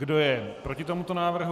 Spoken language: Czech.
Kdo je proti tomuto návrhu?